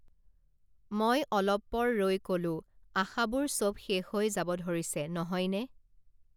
মই অলপপৰ ৰৈ কলোঁ আশাবোৰ চব শেষ হৈ যাব ধৰিছে নহয়নে